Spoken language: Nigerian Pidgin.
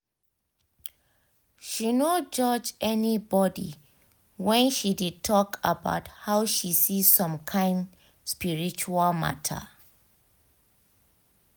she no judge anybody when she de talk about how she see some kyn spiritual matter